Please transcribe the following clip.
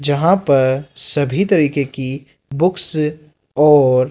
जहां पर सभी तरीके की बुक्स और--